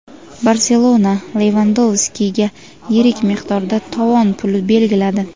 "Barselona" Levandovskiga yirik miqdorda tovon puli belgiladi;.